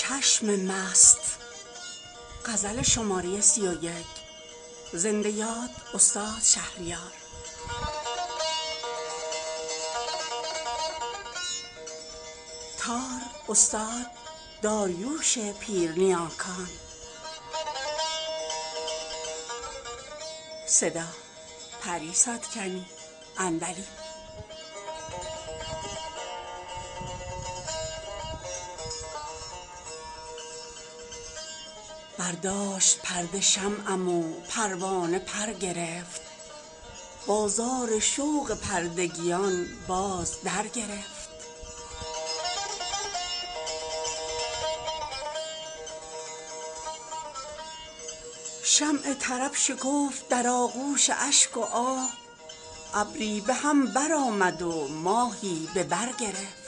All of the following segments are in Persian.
برداشت پرده شمعم و پروانه پرگرفت بازار شوق پردگیان باز درگرفت شمع طرب شکفت در آغوش اشک و آه ابری به هم برآمد و ماهی به برگرفت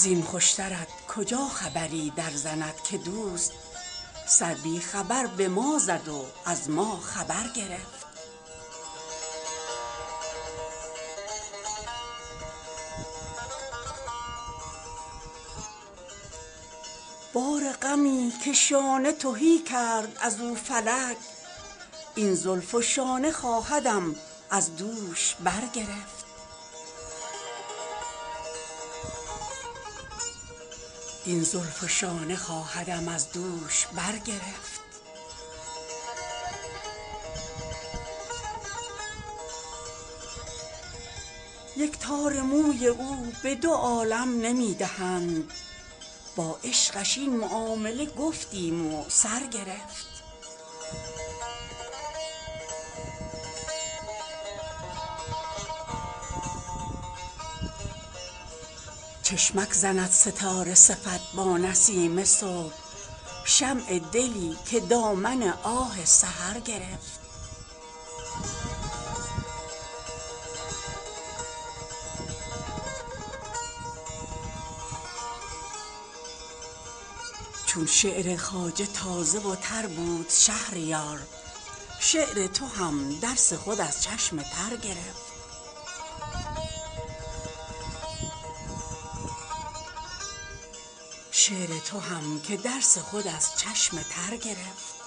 زین خوشترت کجا خبری در زند که دوست سر بی خبر به ما زد و از ما خبر گرفت بار غمی که شانه تهی کرد از او فلک این زلف و شانه خواهدم از دوش برگرفت این ماجرای عشق حدیثی مفصل است قاصر بیان که قصه چنین مختصر گرفت یک تار موی او به دو عالم نمی دهند با عشقش این معامله گفتیم و سرگرفت تا چون کند به ابرو و مژگان که چشم مست دستی به نیزه برد و به دستی سپر گرفت چشمک زند ستاره صفت با نسیم صبح شمع دلی که دامن آه سحر گرفت چون اسم چشم نرگس مخمور ژاله بار در این چمن که لاله به کف جام زر گرفت چون شعر خواجه تازه و تر بود شهریار شعر تو هم که درس خود از چشم تر گرفت